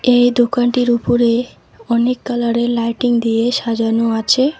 এই দোকানটির উপুরে অনেক কালারের লাইটিং দিয়ে সাজানো আছে